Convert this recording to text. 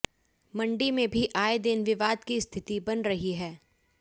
मंडी में भी आए दिन विवाद की स्थिति बन रही है